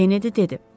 Kennedi dedi.